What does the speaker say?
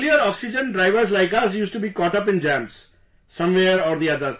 Earlier, oxygen drivers like us used to be caught up in jams, somewhere or the other